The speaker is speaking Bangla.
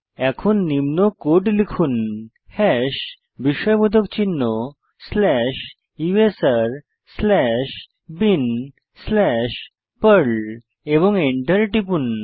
এখন নিম্ন কোড লিখুন হাশ বিস্ময়বোধক চিহ্ন slash USR slash bin slash Perl এবং এন্টার টিপুন